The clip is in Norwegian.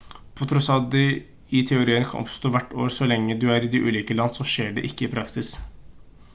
på tross av at de i teorien kan oppstå hvert år så lenge de er i ulike land så skjer ikke det i praksis